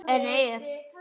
En ef?